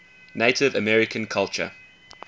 native american culture